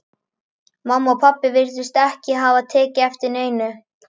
Mamma og pabbi virtust ekki hafa tekið eftir neinu.